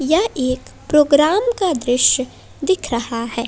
ये एक प्रोग्राम का दृश्य दिख रहा है।